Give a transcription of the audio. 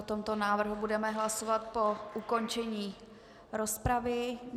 O tomto návrhu budeme hlasovat po ukončení rozpravy.